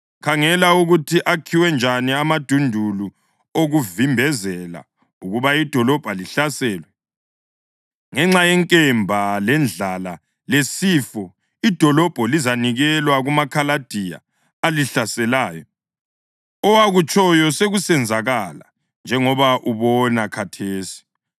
Khangela ukuthi akhiwe njani amadundulu okuvimbezela ukuba idolobho lihlaselwe. Ngenxa yenkemba, lendlala lesifo idolobho lizanikelwa kumaKhaladiya alihlaselayo. Owakutshoyo sekusenzakala njengoba ubona khathesi.